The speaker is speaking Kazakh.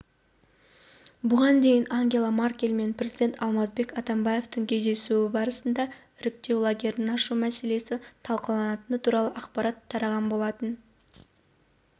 бұған дейін ангела меркель мен президент алмазбек атамбаевтың кездесуі барысында іріктеу лагерін ашу мәселесі талқыланатыны туралы ақпарат тараған болатын